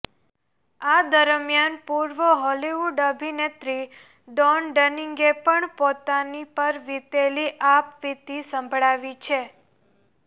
આ દરમિયાન પુર્વ હોલિવૂડ અભિનેત્રી ડોન ડનિંગએ પણ પોતાના પર વીતેલી આપવીતી સંભળાવી છે